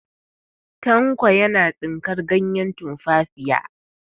Tanko yana tsinkar ganyen tumfafiya.